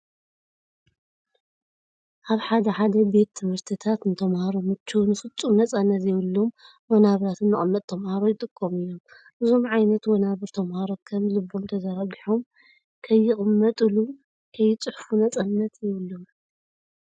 ኣብ ሓደ ሓደ ቤት ትምህርትታት ንተምሃሮ ምችውን ፍፁም ነፃነት ዘይብሎም ወንናብራትን መቀመጢ ተምሃሮ ይጥቀሙ እዮም። እዞም ዓይነት ወናብር ተምሃሮ ከም ልቦም ተዘራጊሖም ከይቅመጥል ከየፅሑፍ ነፃነት የብሎምን።